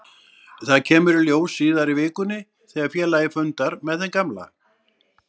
Það kemur í ljós síðar í vikunni þegar félagið fundar með þeim gamla.